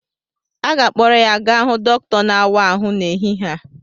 A ga-akpọrọ ya gaa hụ dọkịta na-àwá áhụ n'ehihie a